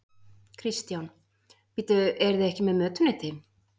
Kristján: Bíddu, eruð þið ekki með mötuneyti?